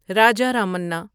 Raja Ramanna